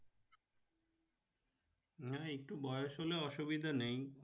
হ্যাঁ একটু বয়স হলে অসুবিধা নেই